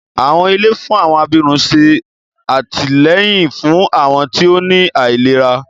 Àwọn ilé fún àwọn abirùn ṣé àtìlẹ́yìn fún àwọn tí ó ní àìlera